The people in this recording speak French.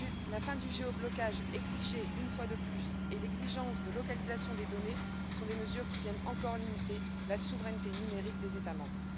La fin du géoblocage, exigée une fois de plus, et l'exigence de localisation des données sont des mesures qui viennent encore limiter la souveraineté numérique des États membres.